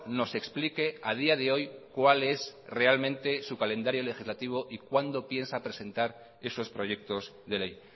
nos explique a día de hoy cual es realmente su calendario legislativo y cuando piensa presentar esos proyectos de ley